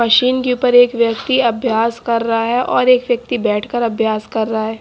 Machine के ऊपर एक व्यक्ति अभ्यास कर रहा है और एक व्यक्ति बैठकर अभ्यास कर रहा है।